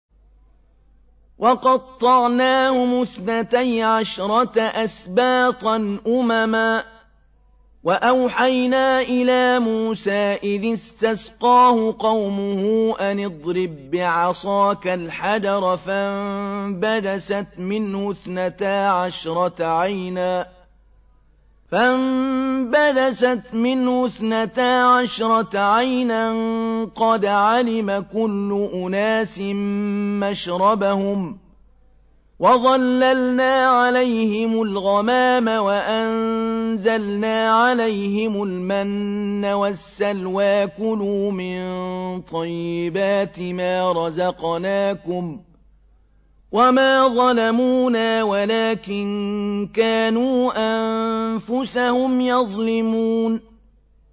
وَقَطَّعْنَاهُمُ اثْنَتَيْ عَشْرَةَ أَسْبَاطًا أُمَمًا ۚ وَأَوْحَيْنَا إِلَىٰ مُوسَىٰ إِذِ اسْتَسْقَاهُ قَوْمُهُ أَنِ اضْرِب بِّعَصَاكَ الْحَجَرَ ۖ فَانبَجَسَتْ مِنْهُ اثْنَتَا عَشْرَةَ عَيْنًا ۖ قَدْ عَلِمَ كُلُّ أُنَاسٍ مَّشْرَبَهُمْ ۚ وَظَلَّلْنَا عَلَيْهِمُ الْغَمَامَ وَأَنزَلْنَا عَلَيْهِمُ الْمَنَّ وَالسَّلْوَىٰ ۖ كُلُوا مِن طَيِّبَاتِ مَا رَزَقْنَاكُمْ ۚ وَمَا ظَلَمُونَا وَلَٰكِن كَانُوا أَنفُسَهُمْ يَظْلِمُونَ